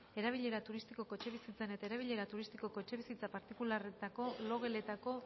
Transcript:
erabilera turistikoko etxebizitzen eta erabilera turistikoko etxebizitza partikularretako logeletako